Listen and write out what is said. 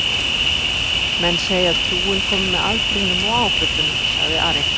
Menn segja trúin komi með aldrinum og áföllunum, sagði Ari.